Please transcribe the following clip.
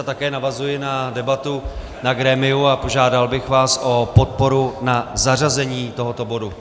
A také navazuji na debatu na grémiu a požádal bych vás o podporu na zařazení tohoto bodu.